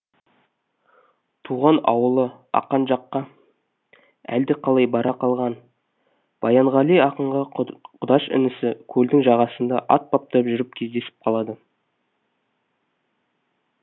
туған ауылы ақан жаққа әлдеқалай бара қалған баянғали ақынға құдаш інісі көлдің жағасында ат баптап жүріп кездесіп қалады